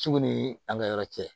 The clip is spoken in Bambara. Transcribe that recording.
Ciw ni an ka yɔrɔ cɛ